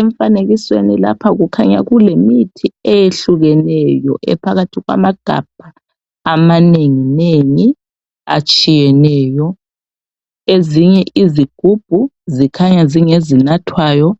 Emfanekisweni lapha kukhanya kulemithi eyehlukeneyo, ephakathi kwamagabha amanengi nengi atshiyeneyo. Ezinye izigubhu zikhanya zingezinathwayo